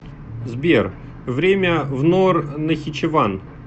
сбер время в нор нахичеван